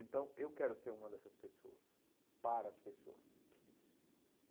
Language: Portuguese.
Então, eu quero ser uma dessas pessoas, para as pessoas.